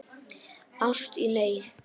Ást í neyð